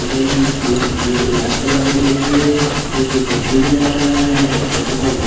में ये ये इलाज करवाने के लिए एक कुर्सी भी लगा हुआ है एक छोटा सा गेट --